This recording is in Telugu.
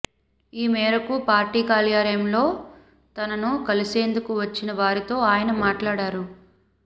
ఈ మేరకు పార్టీ కార్యాలయంలో తనను కలిసేందుకు వచ్చిన వారితో ఆయన మాట్లాడారు